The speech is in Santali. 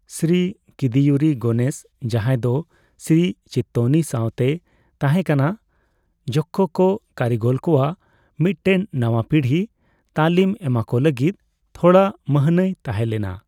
ᱥᱨᱤ ᱠᱤᱫᱤᱭᱩᱨᱩ ᱜᱚᱱᱮᱥ ᱡᱟᱦᱟᱸᱭ ᱫᱚ ᱥᱨᱤ ᱪᱤᱛᱛᱚᱱᱤ ᱥᱟᱣ ᱛᱮᱭ ᱛᱟᱦᱮᱸᱠᱟᱱᱟ, ᱡᱚᱠᱠᱷᱚ ᱠᱚ ᱠᱟᱹᱨᱤᱜᱚᱞ ᱠᱚᱣᱟᱜ ᱢᱤᱫᱴᱮᱱ ᱱᱟᱣᱟ ᱯᱤᱲᱦᱤ ᱛᱟᱹᱞᱤᱢ ᱮᱢᱟᱠᱚ ᱞᱟᱹᱜᱤᱫ ᱛᱷᱚᱲᱟ ᱢᱟᱹᱦᱱᱟᱹᱭ ᱛᱟᱦᱮᱸᱞᱮᱱᱟ ᱾